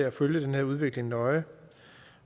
at følge den her udvikling nøje